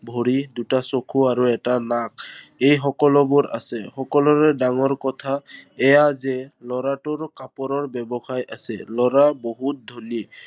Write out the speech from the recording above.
ভৰি, দুটা চকু আৰু এটা নাক, এই সকলোবোৰ আছে। সকলোৰে ডাঙৰ কথা এইয়া যে লৰাটোৰ কাপোৰৰ ব্য়ৱসায় আছে। লৰা বহুত ধনী।